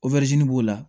b'o la